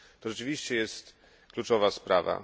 To rzeczywiście jest kluczowa sprawa.